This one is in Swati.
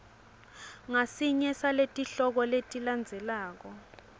ngasinye saletihloko letilandzelako